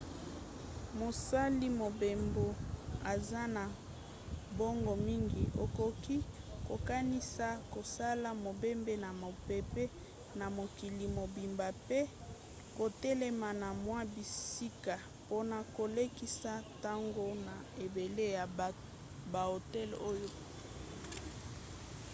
mosali mobembo aza na mbongo mingi akoki kokanisa kosala mobembo na mpepo na mokili mobimba mpe kotelema na mwa bisika mpona kolekisa ntango na ebele ya bahotel oyo